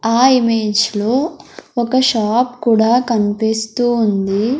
ఆ ఇమేజ్ లో ఒక షాప్ కూడా కన్పిస్తూ ఉంది.